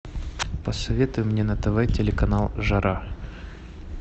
посоветуй мне на тв телеканал жара